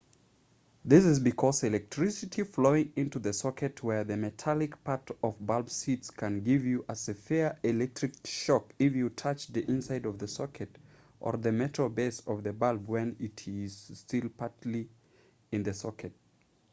this is because electricity flowing into the socket where the metallic part of bulb sits can give you a severe electric shock if you touch the inside of the socket or the metal base of the bulb while it is still partly in the socket